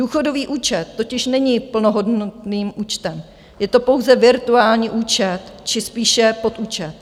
Důchodový účet totiž není plnohodnotným účtem, je to pouze virtuální účet či spíše podúčet.